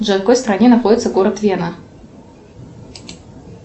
джой в какой стране находится город вена